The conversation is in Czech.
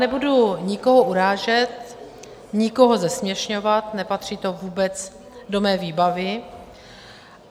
Nebudu nikoho urážet, nikoho zesměšňovat, nepatří to vůbec do mé výbavy.